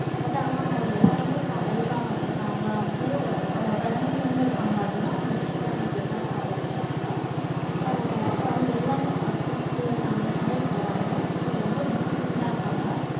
but ஆனா அவங்க எல்லாருமே இப்போ america வந்துட்டாங்க அங்க பிறந்ததுள்ள இருந்து இருக்காங்க. அவங்க christianity ஆஹ் தான் follow பண்ணுவாங்க. ஆஹ் அவங்க எல்லாருமே chruchessunday sunday போவாங்க. so ரொம்ப disciplined ஆஹ் இருப்பாங்க.